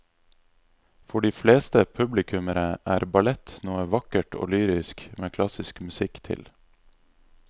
For de fleste publikummere er ballett noe vakkert og lyrisk med klassisk musikk til.